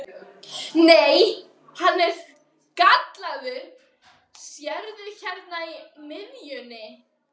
Nei, hann er gallaður, sérðu hérna í miðjunni.